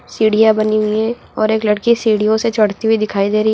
सीढ़ियां बनी हुई है और एक लड़की सीढ़ियों से चढ़ती हुई दिखाई दे रही है।